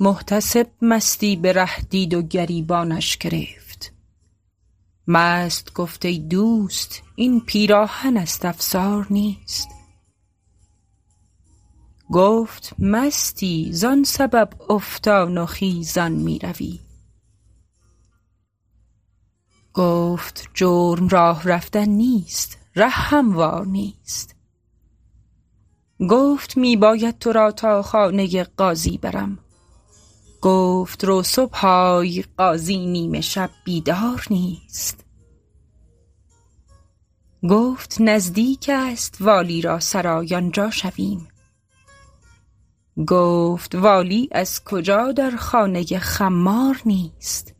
محتسب مستی به ره دید و گریبانش گرفت مست گفت ای دوست این پیراهن است افسار نیست گفت مستی زان سبب افتان و خیزان میروی گفت جرم راه رفتن نیست ره هموار نیست گفت می باید تو را تا خانه قاضی برم گفت رو صبح آی قاضی نیمه شب بیدار نیست گفت نزدیک است والی را سرای آنجا شویم گفت والی از کجا در خانه خمار نیست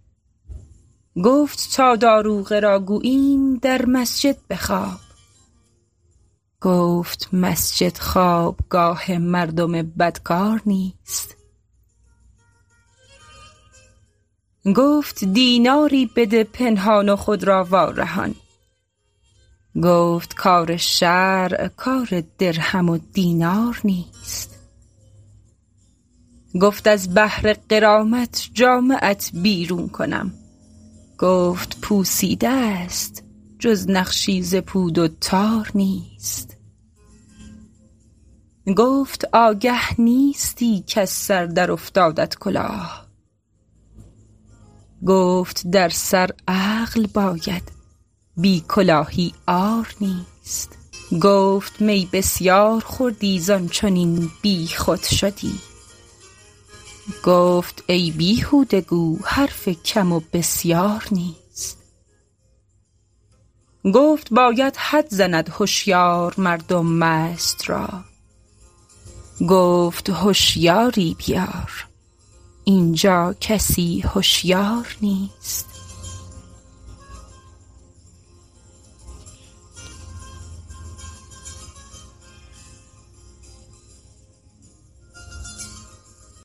گفت تا داروغه را گوییم در مسجد بخواب گفت مسجد خوابگاه مردم بدکار نیست گفت دیناری بده پنهان و خود را وارهان گفت کار شرع کار درهم و دینار نیست گفت از بهر غرامت جامه ات بیرون کنم گفت پوسیده ست جز نقشی ز پود و تار نیست گفت آگه نیستی کز سر در افتادت کلاه گفت در سر عقل باید بی کلاهی عار نیست گفت می بسیار خوردی زان چنین بیخود شدی گفت ای بیهوده گو حرف کم و بسیار نیست گفت باید حد زند هشیار مردم مست را گفت هشیاری بیار اینجا کسی هشیار نیست